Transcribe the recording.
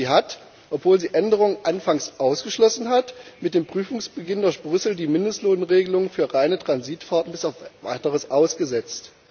Sie hat, obwohl sie Änderungen anfangs ausgeschlossen hat, mit dem Prüfungsbeginn durch Brüssel die Mindestlohnregelung für reine Transitfahrten bis auf weiteres ausgesetzt.